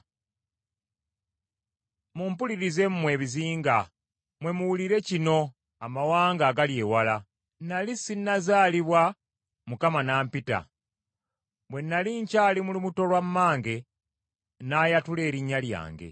Mumpulirize mmwe ebizinga, mmwe muwulire kino amawanga agali ewala. Nnali sinazaalibwa Mukama n’ampita. Bwe nnali nkyali mu lubuto lwa mmange n’ayatula erinnya lyange.